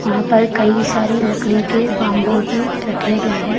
वहां पर कई सारे लकड़ी के बंबू भी रखे गए हैं।